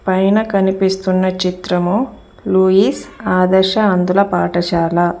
పైన కనిపిస్తున్న చిత్రము లూయిస్ ఆదర్శ అందుల పాఠశాల.